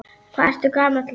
Hvað ertu gamall, vinur?